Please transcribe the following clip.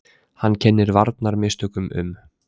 Hann kennir varnarmistökum um.